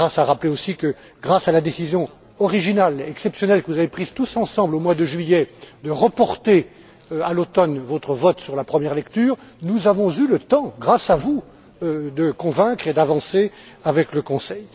Karas a rappelé aussi que, grâce à la décision originale, exceptionnelle, que vous avez prise tous ensemble au mois de juillet de reporter à l'automne votre vote sur la première lecture, nous avons eu le temps, grâce à vous, de convaincre et d'avancer avec le Conseil.